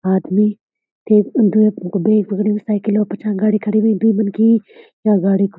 आदमी के दुई दुई अक्ट साइकिल का पिछान गाड़ी खड़ीं हुईं दुई मनखी या गाड़ी --